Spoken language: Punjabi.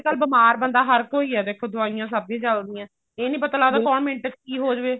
ਅੱਜਕਲ ਬੀਮਾਰ ਬੰਦਾ ਹਰ ਕੋਈ ਹੈ ਦੇਖੋ ਦਵਾਈਆਂ ਸਭ ਦੀਆਂ ਚੱਲਦੀਆਂ ਇਹ ਨੀ ਪਤਾ ਲੱਗਦਾ ਕੋਣ ਮਿੰਟ ਚ ਕੀ ਹੋਜਾਵੇ